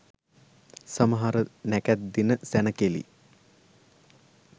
සමහර නැකැත් දින සැණකෙළි